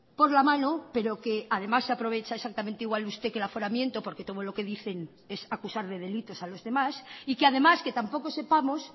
por la mano pero que además se aprovecha exactamente igual usted que el aforamiento porque todo lo que dicen es acusar de delitos a los demás y que además que tampoco sepamos